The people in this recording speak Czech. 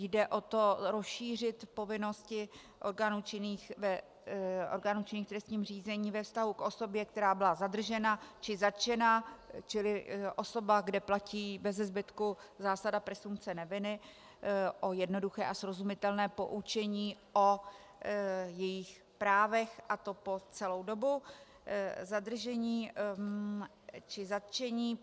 Jde o to rozšířit povinnosti orgánů činných v trestním řízení ve vztahu k osobě, která byla zadržena či zatčena, čili osoba, kde platí bezezbytku zásada presumpce neviny, o jednoduché a srozumitelné poučení o jejích právech, a to po celou dobu zadržení či zatčení.